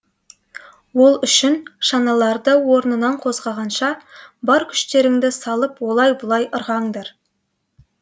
ол үшін шаналарды орнынан қозғағанша бар күштеріңді салып олай бұлай ырғаңдар